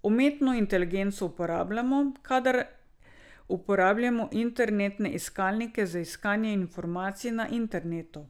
Umetno inteligenco uporabljamo, kadar uporabljamo internetne iskalnike za iskanje informacij na internetu.